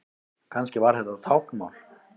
Kannski var þetta táknmál?